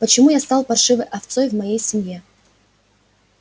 почему я стал паршивой овцой в моей семье